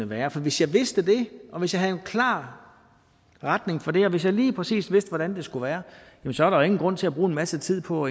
være for hvis jeg vidste det og hvis jeg havde en klar retning for det og hvis jeg lige præcis vidste hvordan det skulle være så er der jo ingen grund til at bruge en masse tid på